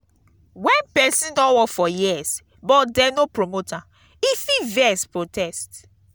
when person don work for years but dem no promote am e fit vex protest